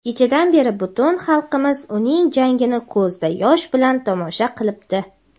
Kechadan beri butun xalqimiz uning jangini ko‘zda yosh bilan tomosha qilibdi.